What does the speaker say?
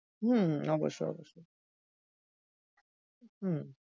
হম অবশ্যই, অবশ্যই হম